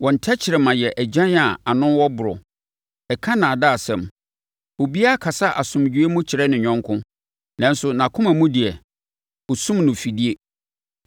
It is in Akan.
Wɔn tɛkrɛma yɛ agyan a ano wɔ borɔ; ɛka nnaadaasɛm. Obiara kasa asomdwoeɛ mu kyerɛ ne yɔnko, nanso nʼakoma mu deɛ, ɔsum no afidie.